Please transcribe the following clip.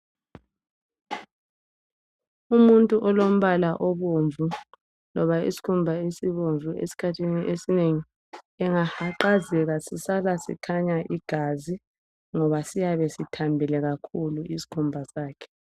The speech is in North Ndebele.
Umuntu olombala obomvu loba isikhumba esibomvu,,esikhathini esinengi engahaqazeka sisala sikhanya igazi ngoba siyabe sithambile kakhulu isikhumba sakhe.